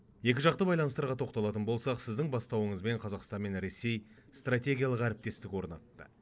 екіжақты байланыстарға тоқталатын болсақ сіздің бастауыңызбен қазақстан мен ресей стратегиялық әріптестік орнатты